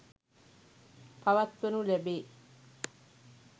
පවත්වනු ලැබේ.